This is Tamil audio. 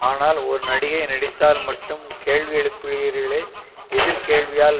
ஆனால் ஒரு நடிகை நடித்தால் மட்டும் கேள்வி எழுப்புகிறீர்களே எதிர் கேள்வியால்